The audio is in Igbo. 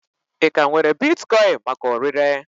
Ị ka nwere bitkoin maka ọrịre?